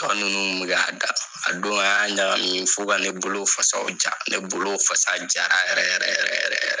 Tɔ nunnu kun be k'a datugu. A don an y'a ɲagamin fo ka ne bolo fasaw ja. Ne bolo fasa jara yɛrɛ yɛrɛ yɛrɛ yɛrɛ yɛrɛ.